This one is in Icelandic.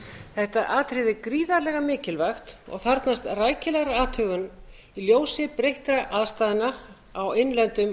þetta atriði er gríðarlega mikilvægt og þarfnast rækilegrar athugunar í ljósi breyttra aðstæðna á innlendum